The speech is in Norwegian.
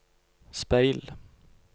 speil